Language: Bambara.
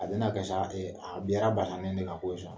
A bɛna k sababu ye, an bɛɛ ka bana nin bɛ na ko ye.